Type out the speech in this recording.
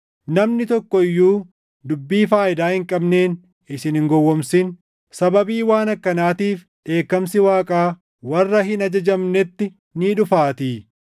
Namni tokko iyyuu dubbii faayidaa hin qabneen isin hin gowwoomsin; sababii waan akkanaatiif dheekkamsi Waaqaa warra hin ajajamnetti ni dhufaatii.